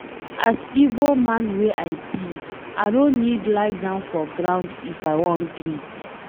As Igbo man wey I be, I no need lie down for ground if I wan greet.